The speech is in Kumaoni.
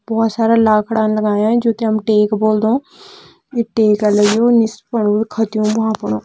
बहोत सारा लाखड़ा लगायां जोकि हम टेक बोल्दं टेक लग्युं निस फुन खत्युँ भ्वाँ प र।